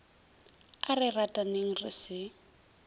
a re rataneng re se